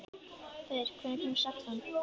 Þeyr, hvenær kemur sexan?